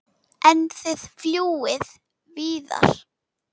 En þið fljúgið víðar?